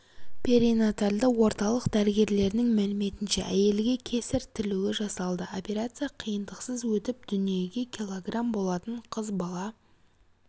перинатальды орталық дәрігерлерінің мәліметінше әйелге кесарь тілуі жасалды операция қиындықсыз өтіп дүниеге килограмм болатын қыз бала